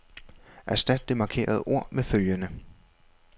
Erstat det markerede ord med følgende.